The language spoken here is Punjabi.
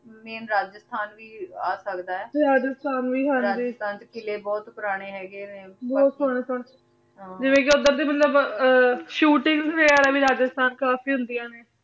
ਮੈਂ ਰਾਝਾਸ੍ਥਨ ਵੀ ਆ ਸਕਦਾ ਆਯ ਰਾਝਾਸ੍ਥਨ ਵੀ ਹਾਂਜੀ ਰਾਜਸਥਾਨ ਚ ਕਿਲੇ ਬੋਹਤ ਪੁਰਾਨੀ ਹੇਗੇ ਨੇ ਬੋਹਤ ਹਾਂ ਹਾਂ ਜਿਵੇਂ ਕੇ ਓਦਰ ਦੀ ਮਤਲਬ shootings ਵੀ ਰਾਝ੍ਸ੍ਥਨ ਕਾਫੀ ਹੁੰਦਿਯਾਂ ਨੇ